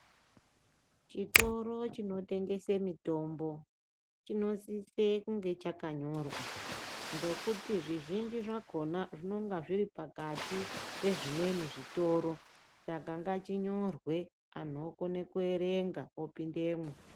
Chitoro chinotengese mitombo chinosise kunge chakanyorwa. Ngokti zvizhinji zvakona zvononga zviri pakati pezvimweni zvitoro. Saka ngachinyorwe antu vokona kuverengavo pindemwo.